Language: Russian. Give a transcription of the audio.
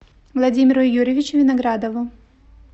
владимиру юрьевичу виноградову